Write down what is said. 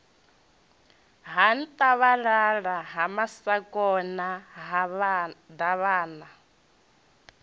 ha nthabalala ha masakona davhana